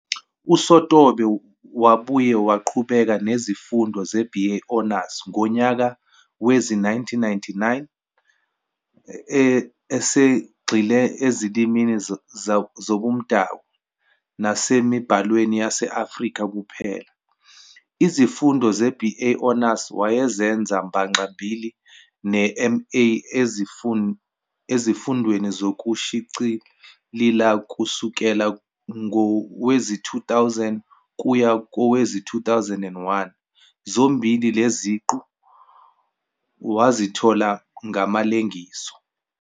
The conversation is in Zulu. USotobe wabuye waqhubeka nezifundo ze-"BA Honors" ngonyaka wezi 1999 esegxile eziLimini zaboMdabu nasemiBhalweni yase-Afrika kuphela. Izifundo ze-"BA Honors" wayezenza mbaxa-mbili ne-MA eziFundweni zokuShiclila kusukela ngowezi-2000 kuya kowezi-2001 zombili lezi ziqu wazithola ngamalengiso.